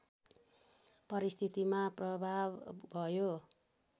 परिस्थितिमा प्रभाव भयो